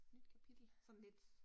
Nyt kapitel